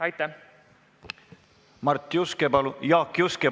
Jaak Juske, palun!